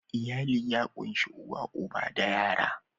Iyali ya ƙunshi uwa uba da yara